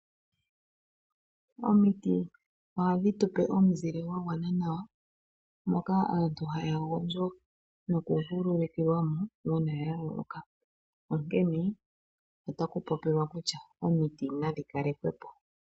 Omiti ohadhi tupe omizile dha gwana nawa, moka aantu haya gondjo nokuvulukilwa mo uuna ya loloka. Onkene ota ku popiwa kutya omiti nadhi kalekwepo.